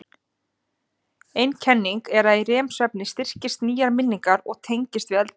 Ein kenningin er að í REM-svefni styrkist nýjar minningar og tengist við eldri.